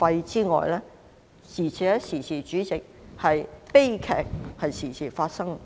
此外，主席，悲劇亦經常發生。